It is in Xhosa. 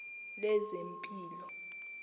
lezempilo